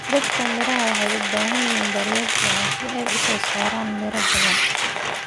Dhirta miraha waxay u baahan yihiin daryeel fiican si ay u soo saaraan miraha badan.